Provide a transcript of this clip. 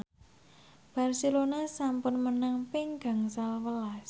Barcelona sampun menang ping gangsal welas